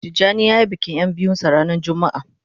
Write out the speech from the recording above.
Tijani ya yi bikin ya biyun sa ranan jumma'a